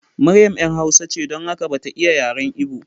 Maryam ‘yar hausa ce, don haka ba ta iya yaren Ibo.